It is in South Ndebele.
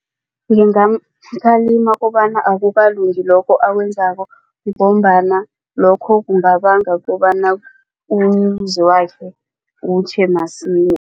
Ngingamkhalima kobana akukalungi lokho akwenzako ngombana lokho kungabanga kobana umuzi wakhe utjhe